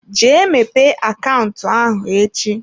Jee mepee akaụntụ ahụ echi.